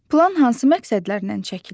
Plan hansı məqsədlərlə çəkilir?